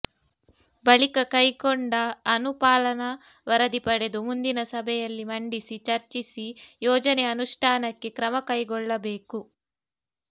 ಬಳಿಕ ಕೈಕೊಂಡ ಅನು ಪಾಲನಾ ವರದಿ ಪಡೆದು ಮುಂದಿನ ಸಭೆಯಲ್ಲಿ ಮಂಡಿಸಿ ಚರ್ಚಿಸಿ ಯೋಜನೆ ಅನುಷ್ಠಾನಕ್ಕೆ ಕ್ರಮ ಕೈಗೊಳ್ಳಬೇಕು